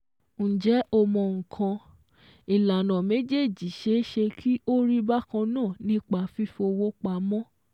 Njẹ́ o mọ̀ nǹkan, ìlànà méjéèjì ṣeé ṣe kí ó rí bákan náà nípa fífowó pamọ́.